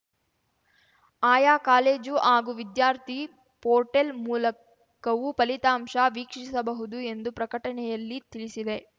ಆಯಾ ಕಾಲೇಜು ಹಾಗೂ ವಿದ್ಯಾರ್ಥಿ ಪೋರ್ಟೆಲ್‌ ಮೂಲಕವೂ ಫಲಿತಾಂಶ ವೀಕ್ಷಿಸಬಹುದು ಎಂದು ಪ್ರಕಟಣೆಯಲ್ಲಿ ತಿಳಿಸಿದೆ